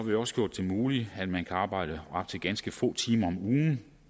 vi også gjort det muligt at man kan arbejde op til ganske få timer om ugen